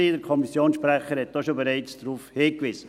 der Kommissionssprecher hat bereits darauf hingewiesen.